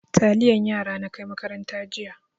Taliyan yara na kai makaranta jiya.